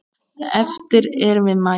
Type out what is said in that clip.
Eftir erum við Maja.